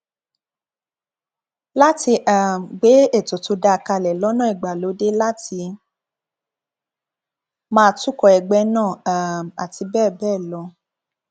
láti um gbé ètò tó dáa kalẹ lọnà ìgbàlódé láti máa tukọ ẹgbẹ náà um àti bẹẹ bẹẹ lọ